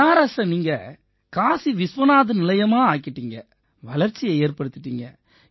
பனாரஸை நீங்க காசி விஸ்வநாத் நிலையமா ஆக்கிட்டீங்க வளர்ச்சியை ஏற்படுத்திட்டீங்க